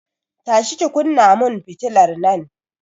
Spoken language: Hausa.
Tashi ki kunna mun fitilar nan!